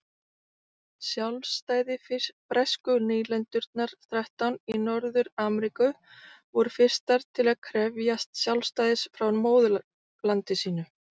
Sjálfstæði Bresku nýlendurnar þrettán í Norður-Ameríku voru fyrstar til að krefjast sjálfstæðis frá móðurlandi sínu.